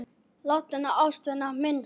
Látinna ástvina minnst.